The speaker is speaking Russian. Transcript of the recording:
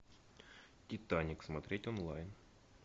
титаник смотреть онлайн